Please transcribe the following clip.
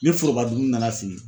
Ni foroba dumuni nana sigi